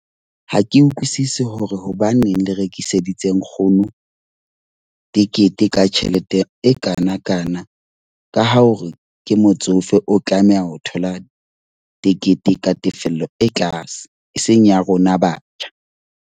Ha ke utlwisisi hore hobaneng le rekiseditse nkgono tekete ka tjhelete e kanakana. Ka ho hore ke motsofe, o tlameha ho thola tekete ka tefello e tlase. E seng ya rona batjha.